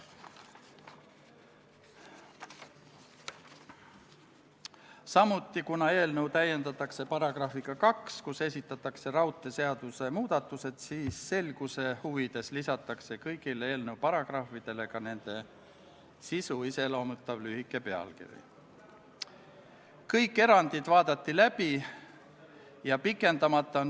Antud eelnõu alusel otsustatakse kuni 20 Eesti kaitseväelase osalemise jätkamine Ameerika Ühendriikide juhitaval ISIL-i vastasel rahvusvahelisel operatsioonil Inherent Resolve, mis eesti keeles on "vankumatu tahe".